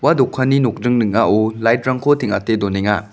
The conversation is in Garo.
ua dokanni nokdring ning·ao light-rangko teng·ate donenga.